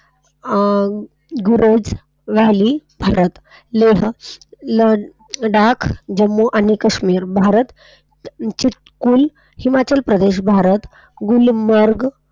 ,,, लडाख जम्मू आणि काश्मीर भारत ची हिमाचल प्रदेश गुलमर्ग.